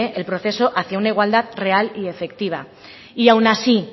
el proceso hacia una igualdad real y efectiva y aun así